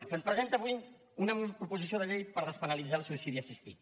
se’ns presenta avui una proposició de llei per despenalitzar el suïcidi assistit